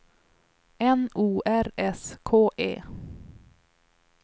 N O R S K E